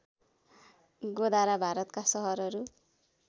गोधरा भारतका सहरहरू